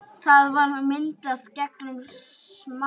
Það var myndað gegnum smásjá.